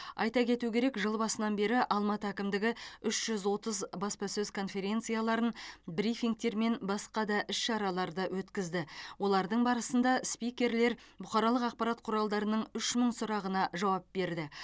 айта кету керек жыл басынан бері алматы әкімдігі үш жүз отыз баспасөз конференцияларын брифингтер мен басқа да іс шараларды өткізді олардың барысында спикерлер бұқаралық ақпарат құралдарының үш мың сұрағына жауап берді